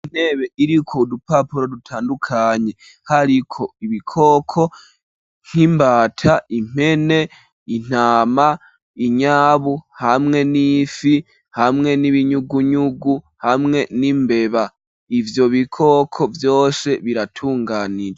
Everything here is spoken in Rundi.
Intebe iriko udupapuro, dutandukanye hariko ibikoko nk'imbata, impene intama, inyabu ,hamwe n'ifi ,hamwe n'ibinyugunyugu ,hamwe n'imbeba ,ivyo bikoko vyoshe biratunganije.